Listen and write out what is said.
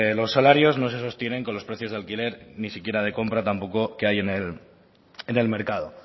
los salarios no se sostienen con los precios de alquiler ni siquiera de compra tampoco que hay en el mercado